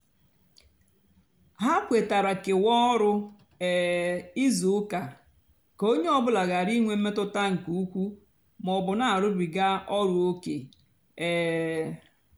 hà kwetara kewaa ọrụ um ízú úkà kà ónyé ọ bụlà ghárá ínwé mmetụta nkè ukwú mà ọ bụ nà-àrụbiga ọrụ óké. um